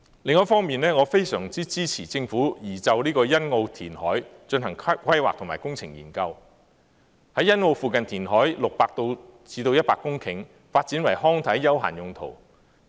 另一方面，我非常支持政府就欣澳填海進行規劃及工程研究，在欣澳附近填海60公頃至100公頃，發展為康體休閒用途。